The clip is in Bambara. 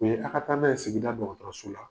Mɛ a ka taa n'a ye sigida dɔgɔtɔrɔso la.